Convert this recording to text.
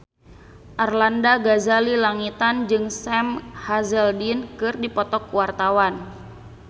Arlanda Ghazali Langitan jeung Sam Hazeldine keur dipoto ku wartawan